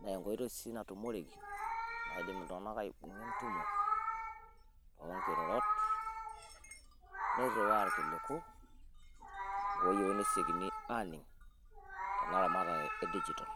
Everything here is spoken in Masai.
naa enkoitoi sii natumorei. naidim iltunganak aitumia, tentumo oonkirorot, niriwaa irkiliku, oyieuni nesiokini aaning'tenaramatre e digital.